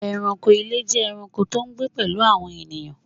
Ẹranko ile jẹ ẹranko to n gbe pelu awọn ènìyàn